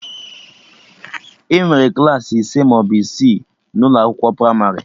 Enwere Klassị ise maọbụ isii n'ụlọ akwụkwọ pramarị